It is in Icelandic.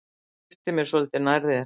Hleyptu mér svolítið nær þér.